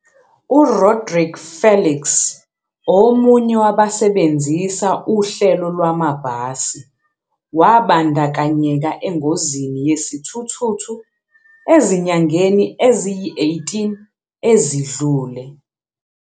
U-Rodrique Felix, omunye wabasebenzisa uhlelo lwamabhasi, wabandakanyeka engozini yesithuthuthu ezinyangeni eziyi-18 ezidlule.